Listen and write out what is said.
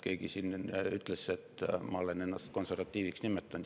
Keegi siin enne ütles, et ma olen ennast konservatiiviks nimetanud.